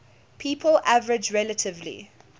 people average relatively